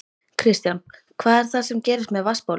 Kristján: Hvað er það sem gerist með vatnsbólin?